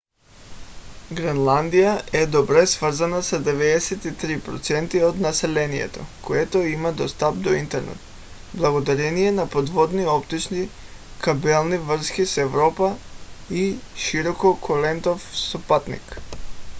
гренландия е добре свързана с 93% от населението което има достъп до интернет благодарение на подводни оптични кабелни връзки с европа и широколентов спътник